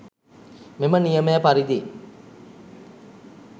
මෙම නියමය පරිදි